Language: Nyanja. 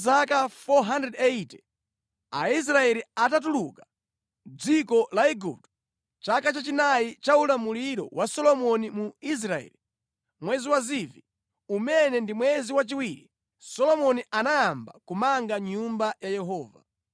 Patapita zaka 480 Aisraeli atatuluka mʼdziko la Igupto, chaka chachinayi cha ulamuliro wa Solomoni mu Israeli, mwezi wa Zivi, umene ndi mwezi wachiwiri, Solomoni anayamba kumanga Nyumba ya Yehova.